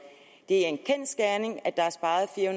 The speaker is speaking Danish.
det er en kendsgerning at der er sparet fire